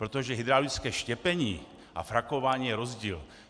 Protože hydraulické štěpení a frakování je rozdíl.